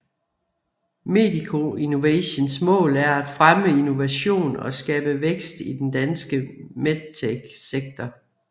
Medico Innovations mål er at fremme innovation og skabe vækst i den danske medtech sektor